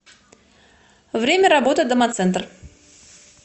время работы домоцентр